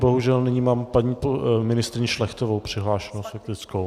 Bohužel nyní mám paní ministryni Šlechtovou přihlášenu s faktickou.